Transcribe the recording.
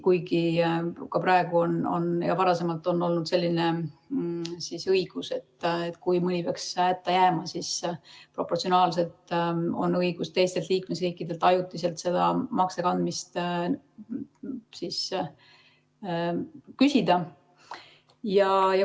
Kuigi praegu on ja ka varem on olnud selline õigus, et kui mõni riik peaks hätta jääma, siis proportsionaalselt on õigus teistelt liikmesriikidelt ajutiselt seda makse kandmist küsida.